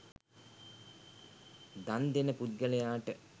දන්දෙන පුද්ගලයාට